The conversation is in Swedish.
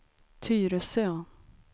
Tyresö